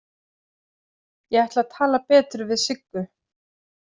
Ég ætla að tala betur við Siggu.